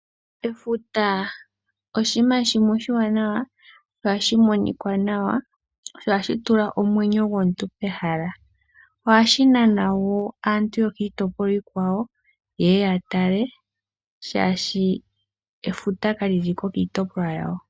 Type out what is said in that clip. Efuta oshima shimwe oshiwanawa sho ohashi monikwa nawa, sho ohashi tula omwenyo gomuntu pehala. Ohashi nana wo aantu yokiitopolwa iikwawo yeye ya tale shashi efuta kali liko kiitopolwa yawo.